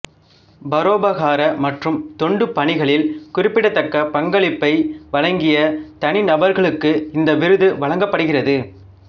பரோபகார மற்றும் தொண்டு பணிகளில் குறிப்பிடத்தக்க பங்களிப்பை வழங்கிய தனிநபர்களுக்கு இந்த விருது வழங்கப்படுகிறது